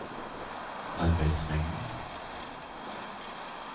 arbeidsmengden